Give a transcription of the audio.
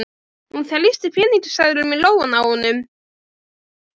Hún þrýsti peningaseðlum í lófann á honum.